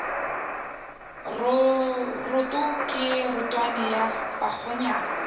roto ke rotwane ya bakgonyana